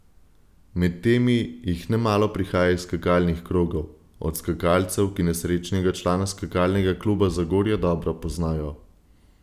Med temi jih nemalo prihaja iz skakalnih krogov, od skakalcev, ki nesrečnega člana Skakalnega kluba Zagorje dobro poznajo.